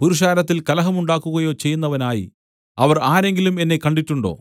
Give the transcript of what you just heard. പുരുഷാരത്തിൽ കലഹം ഉണ്ടാക്കുകയോ ചെയ്യുന്നവനായി അവർ ആരെങ്കിലും എന്നെ കണ്ടിട്ടുണ്ടോ